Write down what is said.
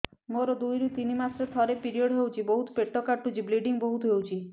ମୋର ଦୁଇରୁ ତିନି ମାସରେ ଥରେ ପିରିଅଡ଼ ହଉଛି ବହୁତ ପେଟ କାଟୁଛି ବ୍ଲିଡ଼ିଙ୍ଗ ବହୁତ ହଉଛି